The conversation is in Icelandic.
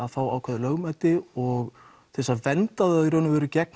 fá ákveðið lögmæti og til að vernda þá gegn